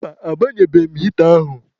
Mba, agbanyebeghị m hịta ahụ.